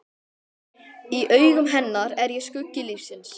Í augum hennar er ég skuggi lífsins.